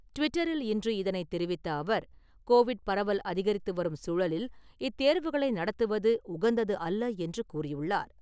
ட்விட்டரில் இன்று இதனை தெரிவித்த அவர், கோவிட் பரவல் அதிகரித்து வரும் சூழலில், இத்தேர்வுகளை நடத்துவது உகந்தது அல்ல என்று கூறியுள்ளார்.